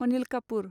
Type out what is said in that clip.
Anil Kapoor